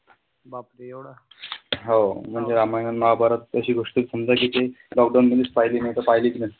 हो म्हणजे रामायण आणि महाभारत अशी गोष्ट आहे समजा जिथे lockdown मध्येच पाहिली नाही तर पाहिलीच नसती.